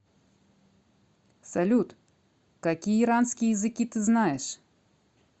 салют какие иранские языки ты знаешь